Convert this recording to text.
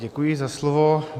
Děkuji za slovo.